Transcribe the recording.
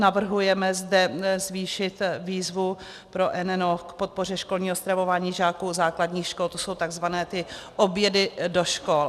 Navrhujeme zde zvýšit výzvu pro NNO k podpoře školního stravování žáků základních škol, to jsou tzv. obědy do škol.